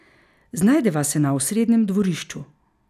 Znajdeva se na osrednjem dvorišču.